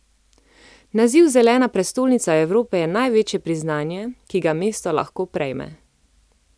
Naziv zelena prestolnica Evrope je največje priznanje, ki ga mesto lahko prejme.